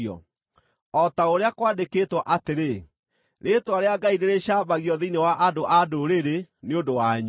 O ta ũrĩa kwandĩkĩtwo atĩrĩ, “Rĩĩtwa rĩa Ngai nĩrĩcambagio thĩinĩ wa andũ-a-Ndũrĩrĩ nĩ ũndũ wanyu.”